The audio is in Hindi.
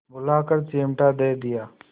बुलाकर चिमटा दे दिया